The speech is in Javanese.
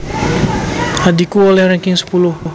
Adhiku oleh ranking sepuluh